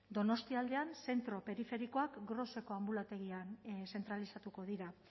donostialdean zentro periferikoak groseko anbulategian zentralizatuko dira